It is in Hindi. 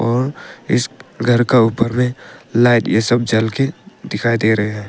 और इस घर का ऊपर में लाइट ये सब जल के दिखाई दे रहे हैं।